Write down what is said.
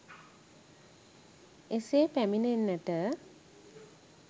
එසේ පැමිණෙන්නට